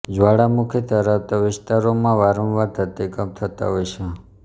જવાળામુખી ધરાવતા વિસ્તારોમાં વારંવાર ધરતીકંપ થતા હોય છે